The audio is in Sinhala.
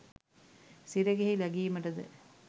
සිරගෙහි ලැගීමට ද